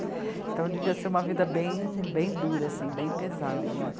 Então devia ser uma vida bem, bem dura, bem pesada.